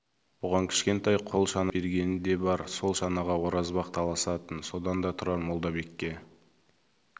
бұған кішкентай қол шана істеп бергені де бар сол шанаға оразбақ таласатын содан да тұрар молдабекке